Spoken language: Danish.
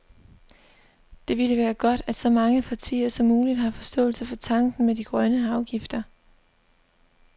Det vil være godt, at så mange partier som muligt har forståelse for tanken med de grønne afgifter.